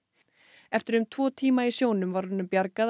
eftir um tvo tíma í sjónum var honum bjargað